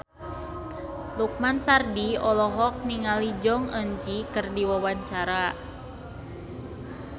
Lukman Sardi olohok ningali Jong Eun Ji keur diwawancara